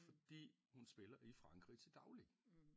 Fordi hun spiller i Frankrig til daglig